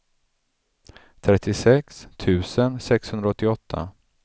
trettiosex tusen sexhundraåttioåtta